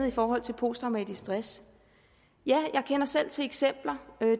i forhold til posttraumatisk stress ja jeg kender selv til eksempler